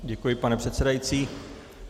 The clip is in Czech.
Děkuji, pane předsedající.